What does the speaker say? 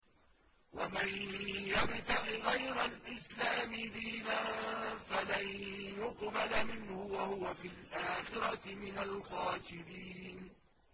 وَمَن يَبْتَغِ غَيْرَ الْإِسْلَامِ دِينًا فَلَن يُقْبَلَ مِنْهُ وَهُوَ فِي الْآخِرَةِ مِنَ الْخَاسِرِينَ